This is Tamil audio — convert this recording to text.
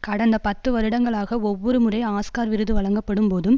கடந்த பத்து வருடங்களாக ஒவ்வொரு முறை ஆஸ்கார் விருது வழங்கப்படும் போதும்